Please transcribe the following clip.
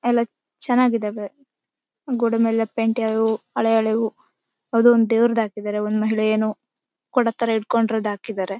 ಎಲ್ಲಾ ಚನಾಗಿದಾವೆ ಗೋಡೆ ಮೇಲೆ ಇರೋ ಪೈಂಟ್ ಎಲ್ಲಾವೂ ಹಳೆ ಹಳೆ ವು ಅವರದೊಂದ್ ದೇವ್ರ್ ಹಾಕಿದಾರೆ ಒಂದ್ ಮಹಿಳೆಯನು ಕೊಡತ್ತರ ಹಿಡ್ಕೊಂಡ್ ಇರೋದು ಹಾಕಿದಾರೆ .